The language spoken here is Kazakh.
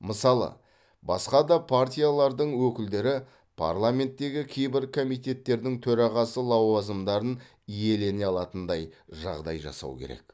мысалы басқа да партиялардың өкілдері парламенттегі кейбір комитеттердің төрағасы лауазымдарын иелене алатындай жағдай жасау керек